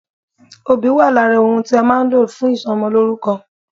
Obì wà lára ohun tí a má a nlò fún ìsomolórúko